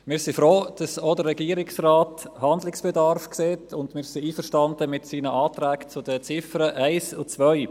Wir sind froh, dass auch der Regierungsrat Handlungsbedarf sieht, und wir sind einverstanden mit seinen Anträgen zu den Ziffern 1 und 2.